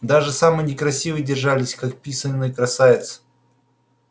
даже самые некрасивые держались как писаные красавицы